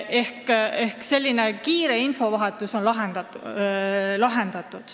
Ehk on olemas selline kiire infovahetus.